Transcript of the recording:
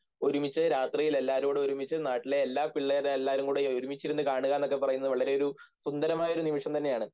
ഒരുമിച്ച് രാത്രിയിലെല്ലാവരുംകൂടെ ഒരുമിച്ച് നാട്ടിലെ എല്ലാ പിള്ളേരുംകൂടി ഒരുമിച്ചിരുന്നു കാണുകയെന്നൊക്കെ പറയുന്നത് വളരെയൊരു സുന്ദരമായ നിമിഷം തന്നെയാണ്